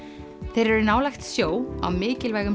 þeir eru nálægt sjó á mikilvægum